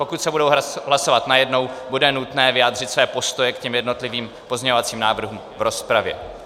Pokud se budou hlasovat najednou, bude nutné vyjádřit své postoje k těm jednotlivým pozměňovacím návrhům v rozpravě.